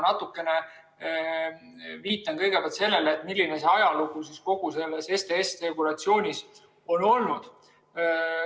Ma viitan kõigepealt sellele, milline see kogu selle STS‑regulatsiooni ajalugu on olnud.